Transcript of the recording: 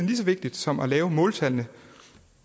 lige så vigtigt som at lave måltallene